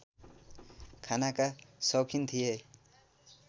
खानाका सौखिन थिए